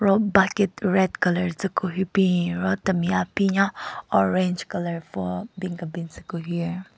Ro bucket red colour tsü ku hyu bin ro temi aphinya orange colour pvü-o bin kebin tsü ku hyu.